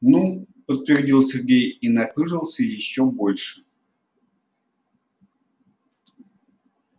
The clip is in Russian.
ну подтвердил сергей и напыжился ещё больше